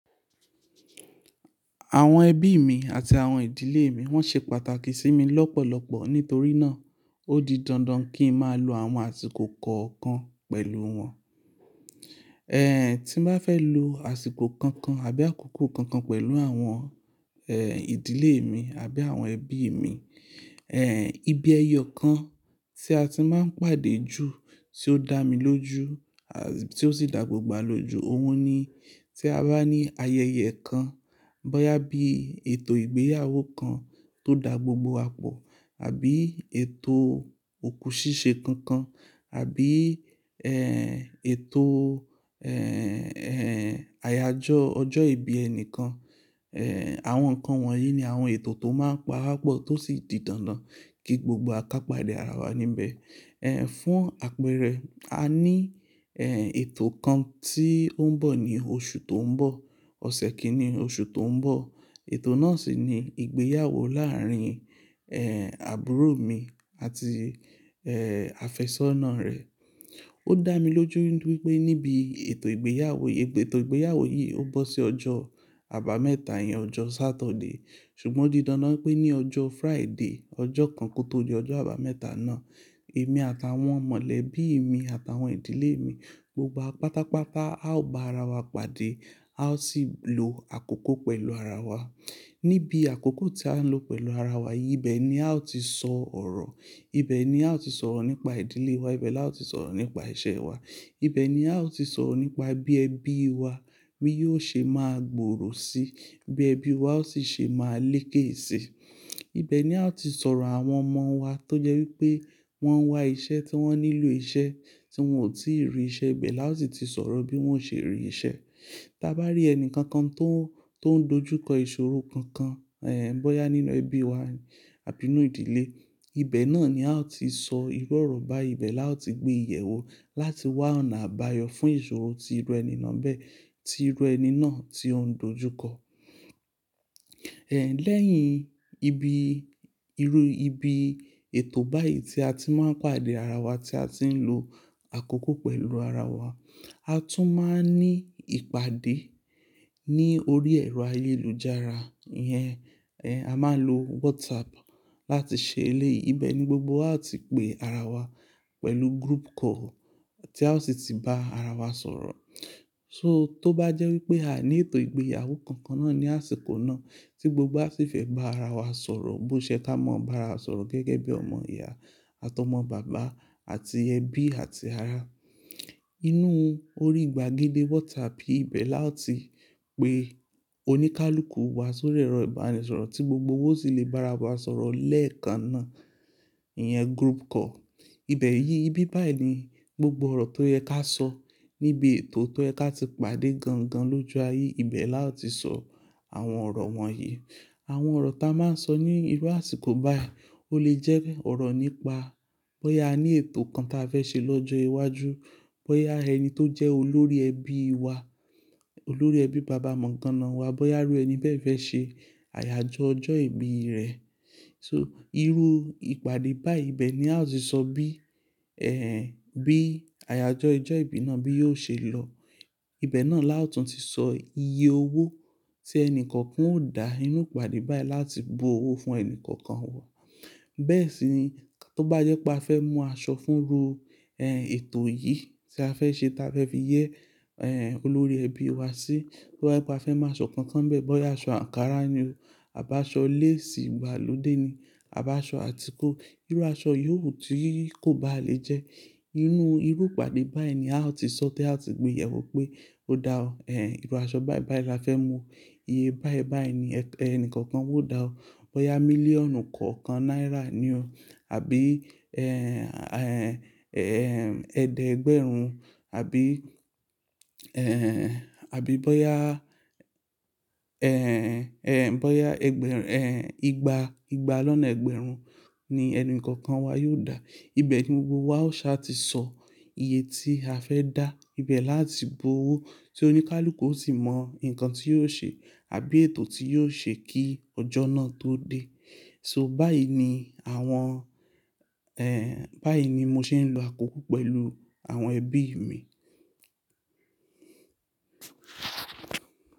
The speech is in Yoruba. Àwọn ẹbí mi àti àwọn ìdílé mi wọ́n ṣe pàtàkì sí mi lọ́pọ̀lọpọ̀ nítorí náà ó di dandan kí ń máa lo àwọn àsìkò kọ̀ọ̀kan pẹ̀lú wọn. Ehn, tí ń bá fẹ́ lo àsìkò kankan àbí àkókò kankan pẹ̀lú àwọn ehn ìdílé mi àbí àwọn ẹbí mi, ehn ibi ẹyọ kan tí a ti máa ń pàdé ju tí ó dá mi lójú à-- tí ó sì dá gbogbo wa lójú, òhun ni. Tí a bá ní ayẹyẹ kan, bóyá bí ètò ìgbéyàwó kan tó dá gbogbo wa pọ̀, àbí ètò òkú ṣíṣe kankan, àbí ehn ètò ehn, ehn àyájọ́ ọjọ́ ìbí ẹnìkan, ehn àwọn nǹkan wọ̀nyí ni àwọn ètò tó máa ń pa wá pọ̀ tó sì di dandan kí gbogbo wa ká pàdé ara wa níbẹ̀. Ehn fún àpẹẹrẹ, a ní ehn ètò kan tí ó ń bọ̀ ní oṣù tó ń bọ̀, ọ̀sẹ̀ kìíní oṣù tó ń bọ̀. Ètò náà sì ni ìgbéyàwó láàárín ehn àbúrò mi àti ehn àfẹ́sọ́nà rẹ̀. Ó dá mi lójú wípé níbi ètò ìgbéyàwó yìí, ètò ìgbéyàwó yìí ó bọ́ sí ọjọ́ àbámẹ́ta yẹn, ọjọ́ Saturday ṣùgbọ́n ó di dandan wípé ní ọjọ́ Friday, ọjọ́ kan kó tó di ọjọ́ àbámẹ́ta náà, èmi àtàwọn mọ̀lébí mi àtàwọn ìdílé mi gbogbo pátápátá a ó gba ara wa pàdé, a ó sì lo àkókò pẹ̀lú ara wa. Níbi àkókò tí á ń lo pẹ̀lú ara wa yìí, ibẹ̀ ni a ó ti sọ ọ̀rọ̀, ibẹ̀ ni a ó ti sọ̀rọ̀ nípa ìdílé wa, ibẹ̀ la ó ti sọ̀rọ̀ nípa ìṣe wa, ibẹ̀ ni a ó ti sọ̀rọ̀ nípa bí ẹbí wa yóò ṣe máa gbòòrò síi, bí ẹbí wa ó sì ṣe máa lékè síi. Ibẹ̀ ni a ó ti sọ̀rọ̀ àwọn ọmọ wa tó jẹ́ wípé wọ́n ń wá iṣẹ́ tí wọ́n nílò iṣẹ́ tí wọn ò tíì rí, ìṣe ibẹ̀ la ó ti ti sọ̀rọ̀ bí wọ́n ṣe rí ìṣe. Tí a bá rí ẹni kankan tó, tó ń dojú kọ ìṣòro kankan ehn bóyá nínú ẹbí wa àbí nínú ìdílé, ibẹ̀ náà ni a ó ti sọ irọ́ ọ̀rọ̀ bá ibẹ̀ la ó ti gbé ìyẹ̀wù láti wá ọ̀nà àbáyọ fún ìṣòro tí irú ẹni náà bẹ́ẹ̀, tí irú ẹni náà tí ó ń dojú kọ. Ehn lẹ́yìn ibi, irú ibi ètò báyìí tí a ti máa ń pàdé ara wa tí a ti ń lo àkókò pẹ̀lú ara wa, a tún máa ń ní ìpàdé ní orí ẹ̀rọ ayélujára yẹn. Ehn a máa ń lo WhatsApp láti ṣe eléyìí. Ibẹ̀ ni gbogbo wa a ti pé ara wa pẹ̀lú group call tí a ó sì ti bá ara wa sọ̀rọ̀. So tó bá jẹ́ wípé a ní ètò ìgbéyàwó kankan náà ní àsìkò náà tí gbogbo wa sì fẹ́ bá ara wa sọ̀rọ̀ bó ṣe ká mọ bá ara sọ̀rọ̀ gẹ́gẹ́ bí ọmọ ìyá àti ọmọ bàbá àti ẹbí àti ara. Inú orí ìgbàgede WhatsApp yìí bẹ́ẹ̀ la ó ti pé oníkálùkù wa sori ẹ́rọ̀ ìbánisọ̀rọ̀ tí gbogbo wa ó sì lè bá ara wa sọ̀rọ̀ lẹ́ẹ̀kan náà, ìyẹn group call. Ibẹ̀ yìí, ibi báyìí ni gbogbo ọ̀rọ̀ tó yẹ ká sọ níbi ètò tó yẹ ká ti pàdé gan gan lójú ayé, ibẹ̀ la ó ti sọ àwọn ọ̀rọ̀ wọ̀nyí. Àwọn ọ̀rọ̀ tá a máa ń sọ ní irú àsìkò báyìí ó lè jẹ́ ọ̀rọ̀ nípa bóyá a ní ètò kan tí a fẹ́ ṣe lọ́jọ́ iwájú, bóyá ẹni tó jẹ́ olórí ẹbí wa, olórí ẹbí bàbá mọ̀ńgáná wa, bóyá irú ẹni bẹ́ẹ̀ fẹ́ ṣe àyájọ́ ọjọ́ ìbí rẹ̀. So irú ìpàdé bai ibẹ̀ ni a ó ti sọ bí ehn bí àyájọ́ ọjọ́ ìbí náà bí yóò ṣe lọ. Ibẹ̀ náà la ó tún ti sọ iye owó tí ẹni kọ̀ọ̀kan ó dá nínú ìpàdé báyìí láti bu owó fún ẹni kọ̀ọ̀kan wá. Bẹ́ẹ̀ sì ni tó bá jẹ́ pé a fẹ́ mú aṣọ fún irú ehn ètò yìí tí a fẹ́ ṣe tí a fẹ́ fi yẹ ehn olórí ẹbí wa sí, tó bá jẹ́ pé a fẹ́ mú aṣọ kankan bẹ́ẹ̀, bóyá aṣọ ankara ni o àbí aṣọ lace ìgbàlódé ni àbí aṣọ àtíku, irú aṣọ yìo wu ti kò bá lè jẹ́. Inú irú ìpàdé báyìí ni a ó ti sọ tí a ó ti gbé ìyẹ̀wù pé ó dá ọ ehn irú aṣọ báì báì la fẹ́ mú, iye báì báì ni ẹni kọ̀ọ̀kan ó dá ó, bóyá mílíọ̀nù kọ̀ọ̀kan náírà ni o àbí ehn, ehn, ehn ẹ̀ẹ́dẹ́gbẹ̀rún àbí ehn, àbí bóyá ehn, ehn bóyá ẹgbẹ̀rún-- ehn ìgbà, ìgbà lọ́nà ẹ̀gbẹ̀rún ni ẹni kọ̀ọ̀kan wa yóò dá. Ibẹ̀ ni gbogbo wa ó sì ṣà ti sọ iye tí a fẹ́ dá, ibẹ̀ la ó ti bu owó tí oníkálùkù ó sì mọ nǹkan tí yóò ṣe àbí ètò tí yóò ṣe kí ọjọ́ náà tó dé. So báyìí ni àwọn ehn báyìí ni mo ṣe ń lo àkókò pẹ̀lú àwọn ẹbí mi.